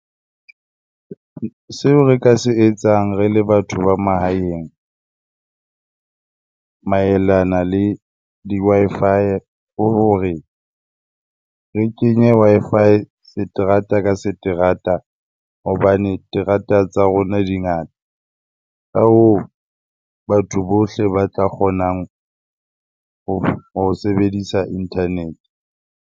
Seo re ka se etsang re le batho ba mahaeng maelana le di-Wi-Fi, ke hore re kenye Wi-Fi seterata ka seterata hobane terata tsa rona dingata. Ka hoo, batho bohle ba tla kgonang ho sebedisa internet-e.